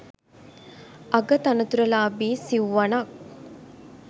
අග තනතුරු ලාභී සිව්වණක්